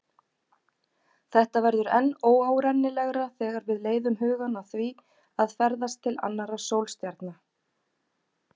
Þetta verður enn óárennilegra þegar við leiðum hugann að því að ferðast til annarra sólstjarna.